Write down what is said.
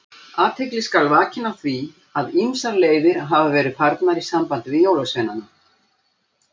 Athygli skal vakin á því að ýmsar leiðir hafa verið farnar í sambandi við jólasveinana.